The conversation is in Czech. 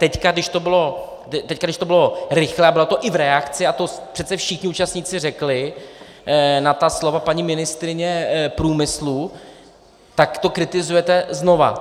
Teď, když to bylo rychlé a bylo to i v reakci, a to přece všichni účastníci řekli, na ta slova paní ministryně průmyslu, tak to kritizujete znova.